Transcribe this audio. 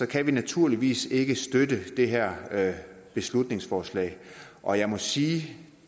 kan vi naturligvis ikke støtte det her beslutningsforslag og jeg må sige